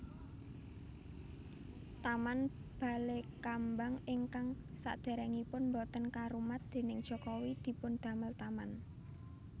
Taman Balekambang ingkang saderengipun boten karumat déning Jokowi dipundamel taman